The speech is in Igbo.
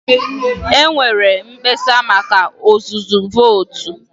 E nweere mkpesa maka ọzụzụ vootu.